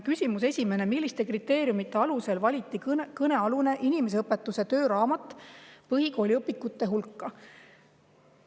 Esimene küsimus: "Milliste kriteeriumite alusel valiti kõnealune inimeseõpetuse tööraamat põhikooli õpikute hulka?